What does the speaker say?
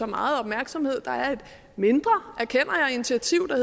meget opmærksomhed der er et mindre erkender jeg initiativ der